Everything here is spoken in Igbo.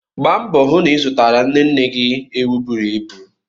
Gba mboo hụ na ị zụtara nne nne gị ewu buru ibu!